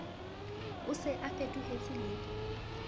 a se a fetohetse le